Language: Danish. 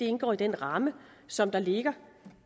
indgå i den ramme som der ligger